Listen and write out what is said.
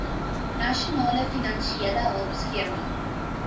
nasionale finansiële hulpskema